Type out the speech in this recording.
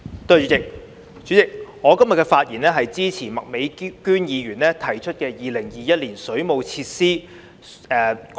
代理主席，今天我發言支持麥美娟議員提出的《2021年水務設施條例草案》。